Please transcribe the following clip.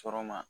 Sɔrɔma